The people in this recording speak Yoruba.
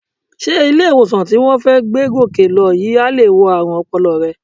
Sé ilé-ìwòsàn tí wọ́n fẹ́ gbé Gòkè lọ yìí á lè wo ààrùn ọpọlọ rẹ?